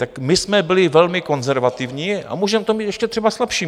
Tak my jsme byli velmi konzervativní a můžeme to mít ještě třeba slabší.